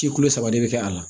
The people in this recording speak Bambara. Ci kolo saba de bɛ kɛ a la